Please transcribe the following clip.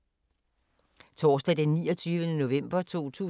Torsdag d. 29. november 2018